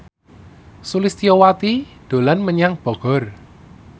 Sulistyowati dolan menyang Bogor